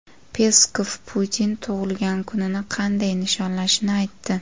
Peskov Putin tug‘ilgan kunini qanday nishonlashini aytdi.